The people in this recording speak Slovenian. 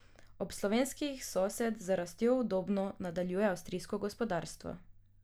Od slovenskih sosed z rastjo udobno nadaljuje avstrijsko gospodarstvo.